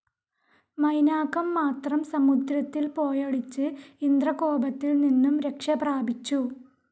മൈനാകംമാത്രം സമുദ്രത്തിൽ പോയൊളിച്ച് ഇന്ദ്രകോപത്തിൽനിന്നും രക്ഷപ്രാപിച്ചു.